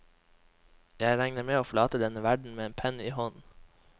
Jeg regner med å forlate denne verden med penn i hånd.